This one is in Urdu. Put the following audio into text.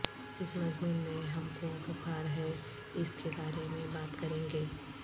اس مضمون میں ہم کو بخار ہے اس کے بارے میں بات کریں گے